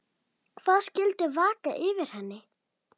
Hvað skyldi vaka fyrir henni?